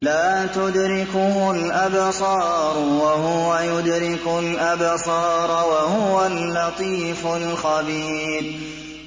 لَّا تُدْرِكُهُ الْأَبْصَارُ وَهُوَ يُدْرِكُ الْأَبْصَارَ ۖ وَهُوَ اللَّطِيفُ الْخَبِيرُ